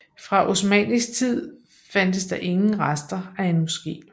Fra osmannisk tid fandtes der ingen rester af en moske